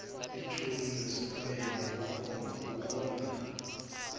ithoni nesitayela kukhomba